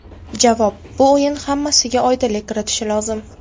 Javob: Bu o‘yin hammasiga oydinlik kiritishi lozim.